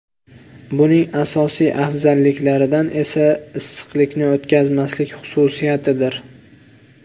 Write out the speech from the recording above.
Buning asosiy afzalliklari esa issiqlikni o‘tkazmaslik xususiyatidir.